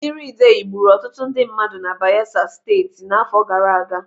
Mmiri idei gburu ọtụtụ ndị mmadụ n'mba Bayelsa Steeti n'afọ gara aga.